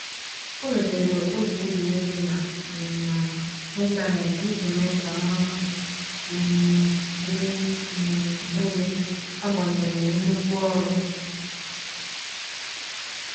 O letere oge egwuregwu na um intaneti iji mee ka mmụọ um dị um elu agbanyeghi nnukwu ọrụ